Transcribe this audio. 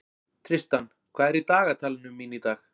Tristan, hvað er í dagatalinu mínu í dag?